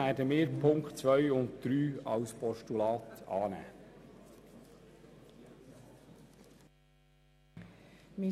Deshalb werden wir Punkt 2 und 3 als Postulat annehmen.